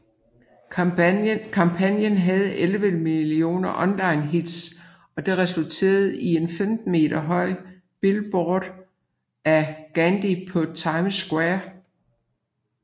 Kampagnen havde 11 millioner online hits og det resulterede i en 15 meter høj billboard af Gandy på Times Square